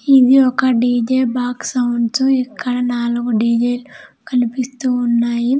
ఇవి ఒక D J box sounds ఇక్కడ నాలుగు డి_జె లు కనిపిస్తున్నాయి.